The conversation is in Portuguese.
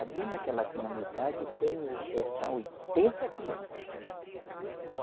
Ali naquela comunidade tem, o eh são oitenta crianças.